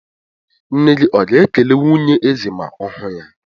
Nne gị ọ̀ ga-ekele nwunye eze ma ọ hụ ya?